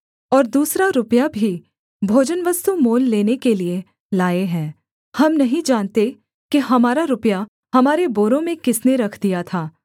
और दूसरा रुपया भी भोजनवस्तु मोल लेने के लिये लाए हैं हम नहीं जानते कि हमारा रुपया हमारे बोरों में किसने रख दिया था